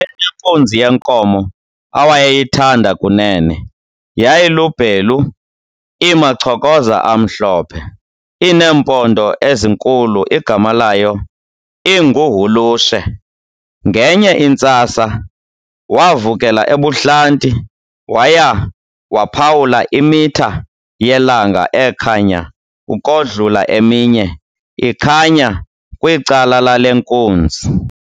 Wayenenkunzi yenkomo awayeyithanda Kunene, yayilubhelu inamachokoza amhlobhe, ineempondo ezinkulu igama layo inguHulushe. Ngenye intsasa wavukela ebuhlanti waya waphawula imitha yelanga ekhanya ukodlula eminye ikhanya kwicala lale nkunzi.